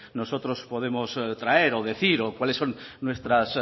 nosotros podemos traer o decir o cuáles son nuestras